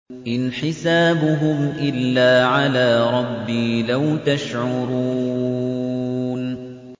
إِنْ حِسَابُهُمْ إِلَّا عَلَىٰ رَبِّي ۖ لَوْ تَشْعُرُونَ